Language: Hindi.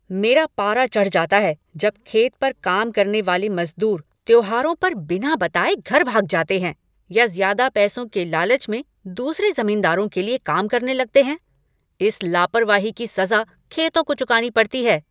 मेरा पारा चढ़ जाता है जब खेत पर काम करने वाले मज़दूर त्योहारों पर बिना बताए घर भाग जाते हैं या ज़्यादा पैसों के लालच में दूसरे ज़मींदारों के लिए काम करने लगते हैं। इस लापरवाही की सज़ा खेतों को चुकानी पड़ती है।